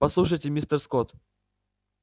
послушайте мистер скотт